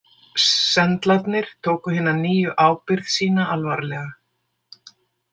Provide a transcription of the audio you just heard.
Sendlarnir tóku hina nýju ábyrgð sína alvarlega.